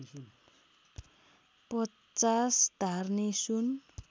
५० धार्नी सुन